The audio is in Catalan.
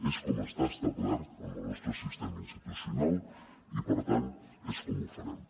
és com està establert en el nostre sistema institucional i per tant és com ho farem